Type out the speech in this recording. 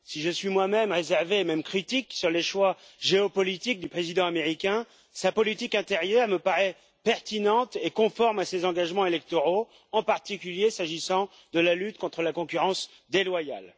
Si je suis moi même réservé, et même critique, quant aux choix géopolitiques du président américain, sa politique intérieure me paraît pertinente et conforme à ses engagements électoraux, en particulier s'agissant de la lutte contre la concurrence déloyale.